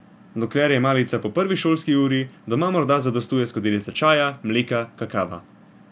Dokler je malica po prvi šolski uri, doma morda zadostuje skodelica čaja, mleka, kakava.